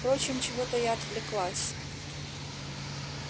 впрочем чего-то я отвлеклась